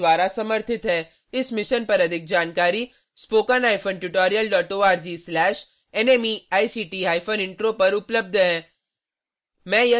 अधिक जानकारी के लिए